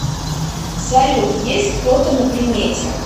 салют есть кто то на примете